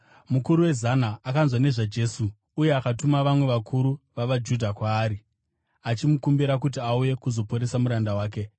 Mukuru wezana akanzwa nezvaJesu uye akatuma vamwe vakuru vavaJudha kwaari, achimukumbira kuti auye kuzoporesa muranda wake.